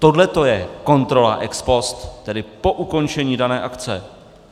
Tohleto je kontrola ex post, tedy po ukončení dané akce.